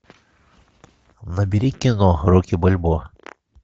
набери кино рокки бальбоа